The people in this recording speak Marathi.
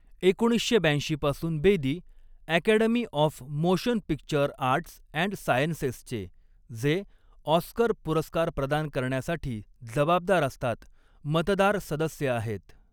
एकोणीसशे ब्याऐंशी पासून Bedi, 'Academy of Motion Picture Arts and सायन्सेस'चे, जे ऑस्कर पुरस्कार प्रदान करण्यासाठी जबाबदार असतात, मतदार सदस्य आहेत.